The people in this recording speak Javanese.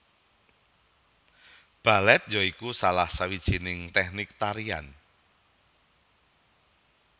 Balèt ya iku salah sawijining tèknik tarian